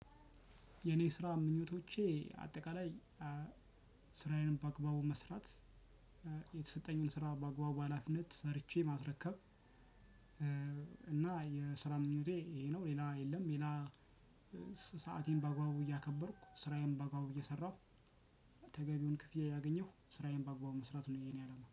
የኔ ስራ ምኞቶቼ አጠቃላይ ስራዬንም በአግባቡ መስራት የተሰጠኝን ስራ በአግባቡ ሀላፊነት ሰርቼ ማስረከብ እና የስራ ምኞቴ ይሄ ነው ሌላ የለም። ሌላ ሰአቴን በአግባቡ እያከበርኩ ስራዬን በአግባቡ እየሰራሁ ተገቢውን ክፍያ እያገኘው ስራዬን በአግባቡ መስራት ነው የኔ አላማ